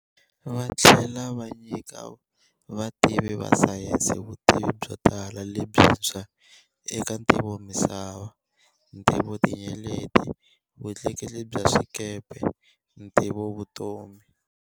Va tlhela va nyika vativi va sayense vutivi byo tala lebyintshwa eka ntivomisava, ntivotinyeleti, vutleketli bya swikepe, ntivovutomi.